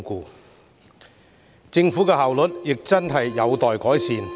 此外，政府的效率亦有待改善。